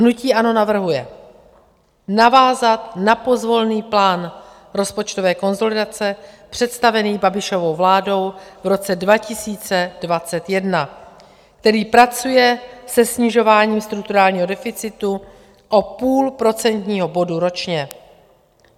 Hnutí ANO navrhuje navázat na pozvolný plán rozpočtové konsolidace představený Babišovou vládou v roce 2021, který pracuje se snižováním strukturálního deficitu o půl procentního bodu ročně.